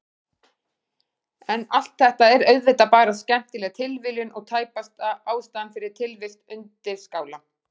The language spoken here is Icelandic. En allt þetta er auðvitað bara skemmtileg tilviljun og tæpast ástæðan fyrir tilvist undirskála.